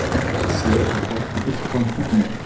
Segir þetta okkur eitthvað um tungumálið?